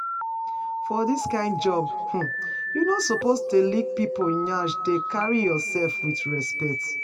For dis kyn job um you no suppose dey lick people nyash, dey carry yourself with respect